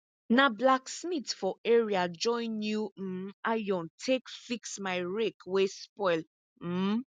na blacksmith for area join new um iron take fix my rake wey spoil um